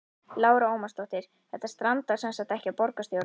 Lára Ómarsdóttir: Þetta strandar semsagt ekki á borgarstjórn?